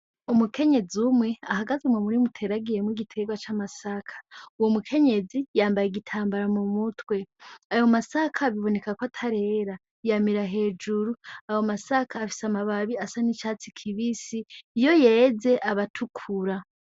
umukenyezi umwe ahagaze mumurima ateragiyemwo igiterwa c'amasaka uwo mukenyezi yambaye igitambara m'umutwe ayo masaka biboneka ko atarera yamira hejuru ayo masaka afise amara babi asa n'icatsi kibisi iyo yeze aba atukuru.